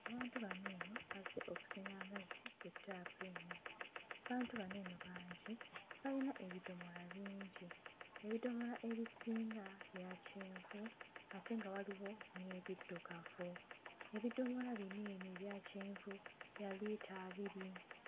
Abantu bano eno bazze okusena amazzi ku ttaapu eno. Abantu bano eno bangi, bayina ebidomola bingi. Ebidomola ebisinga bya kyenvu ate nga waliwo n'ebiddugavu. Ebidomola bino eno ebya kyenvu bya liita abiri.